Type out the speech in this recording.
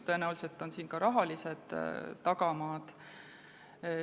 Tõenäoliselt on siin ka rahalised tagamaad.